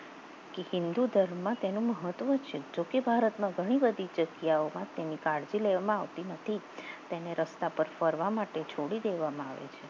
હિન્દુ ધર્મમાં તેનું મહત્વ છે જોકે ભારતમાં ઘણી બધી જગ્યાઓમાં તેને કાળજી લેવામાં આવતી નથી તેને રસ્તા પર ફરવા માટે છોડી દેવામાં આવે છે